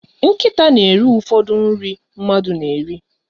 Nkịta na eri ụfọdụ nri mmadụ na eri